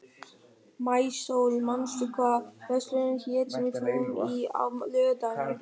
Maísól, manstu hvað verslunin hét sem við fórum í á laugardaginn?